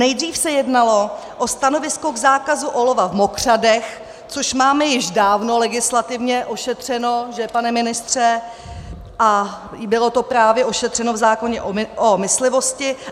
Nejdřív se jednalo o stanovisko k zákazu olova v mokřadech, což máme již dávno legislativně ošetřeno - že, pane ministře? - a bylo to právě ošetřeno v zákoně o myslivosti.